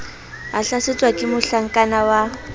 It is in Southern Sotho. a hlasetswe ke mohlakana wa